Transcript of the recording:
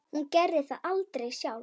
Hún gerði það aldrei sjálf.